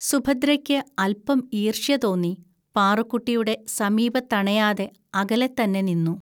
സുഭദ്രയ്ക്ക് അൽപം ഈർഷ്യതോന്നി, പാറുക്കുട്ടിയുടെ സമീപത്തണയാതെ അകലെത്തന്നെ നിന്നു